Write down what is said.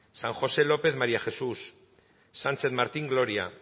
san josé lópez maría jesús sánchez martín gloria